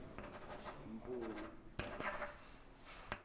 mpumi